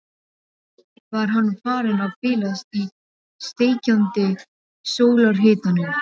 Var hann farinn að bilast í steikjandi sólarhitanum?